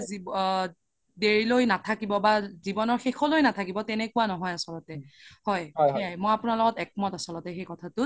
আ দেৰি লৈ নাথাকিব বা জিৱনৰ শেষলৈ নাথাকিব তেনেকুৱা নহয় আচলতে হয় মই আপোনাৰ লগত একমত আচলতে সেই কথাতোত